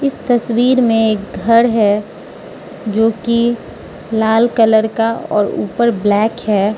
तस्वीर में घर है जोकि लाल कलर का और ऊपर ब्लैक है।